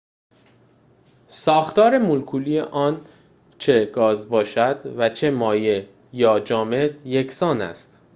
ساختار مولکولی آن چه گاز باشد و چه مایع یا جامد یکسان است